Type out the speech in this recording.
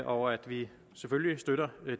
og at vi selvfølgelig støtter